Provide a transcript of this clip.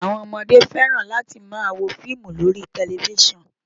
Àwọn ọmọdé fẹ́ràn láti máa wo fíìmù lórí tẹlifísàn